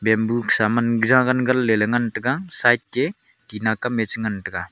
bamboo kosa man jagan ganle ngan taga side ke tina kamye cha ngan taga.